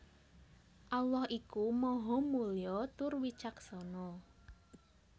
Allah iku Maha Mulya tur Wicaksana